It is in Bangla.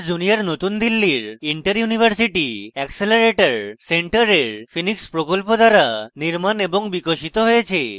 expeyes junior new delhi interuniversity accelerator centre এর phoenix প্রকল্প দ্বারা নির্মাণ এবং বিকশিত হয়েছে